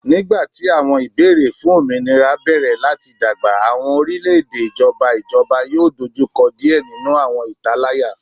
Nigbati awọn ibeere fun ominira bẹrẹ lati dagba awọn orilẹ-ede ijọba ijọba yoo dojukọ diẹ ninu awọn italaya